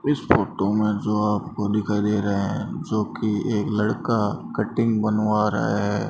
इस फोटो में जो आपको दिखाई दे रहे हैं जो कि एक लड़का कटिंग बनवा रहा है।